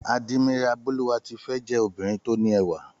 Àdìmáyárà Bólúwatifẹ́ jé obìnrin tó ní ẹwà